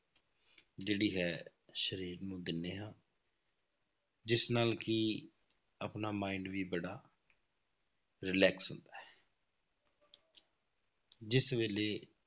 ਜਿਹੜੀ ਹੈ ਸਰੀਰ ਨੂੰ ਦਿੰਦੇ ਹਾਂ ਜਿਸ ਨਾਲ ਕਿ ਆਪਣਾ mind ਵੀ ਬੜਾ relax ਹੁੰਦਾ ਹੈ ਜਿਸ ਵੇਲੇ